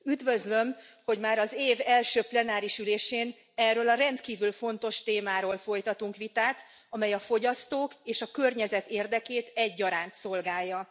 Üdvözlöm, hogy már az év első plenáris ülésén erről a rendkívül fontos témáról folytatunk vitát, amely a fogyasztók és a környezet érdekét egyaránt szolgálja.